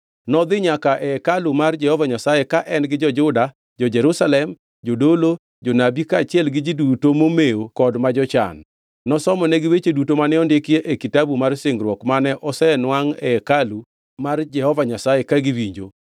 Nodhi nyaka e hekalu mar Jehova Nyasaye ka en gi jo-Juda, jo-Jerusalem, jodolo, jonabi kaachiel gi ji duto momewo kod ma jochan. Nosomonegi weche duto mane ondiki e Kitabu mar Singruok, mane osenwangʼ e hekalu mar Jehova Nyasaye ka giwinjo.